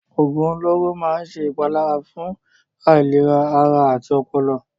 Òògùn olóró máa ń ṣe ìpalára fún ìlera ara àti ọpọlọ.